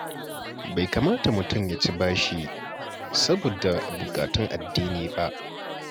Bai kamata mutum ya ci bashi saboda buƙatun addini ba.